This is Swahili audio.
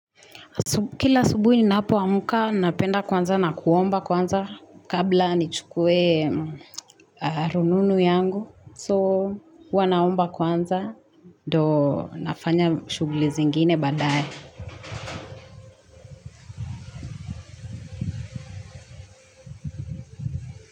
Kila subuhi ninapoamka napenda kwanza na kuomba kwanza kabla nichukue rununu yangu so huwa naomba kwanza ndio nafanya shughuli zingine baadaye.